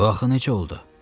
Bu axı necə oldu?